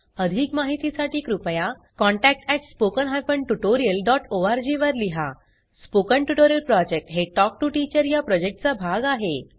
अधिक माहितीसाठी कृपया contact at spoken hyphen tutorial dot O R G वर लिहा स्पोकन ट्युटोरियल प्रॉजेक्ट हे टॉक टू टीचर या प्रॉजेक्टचा भाग आहे